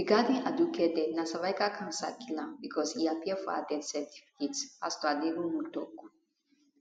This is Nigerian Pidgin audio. regarding aduke death na cervical cancer kill am becos e appear for her death certificate pastor aderounmu tok